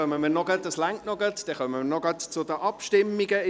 Es reicht noch, dann kommen wir noch gerade zu den Abstimmungen.